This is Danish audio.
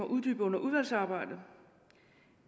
uddybet under udvalgsarbejdet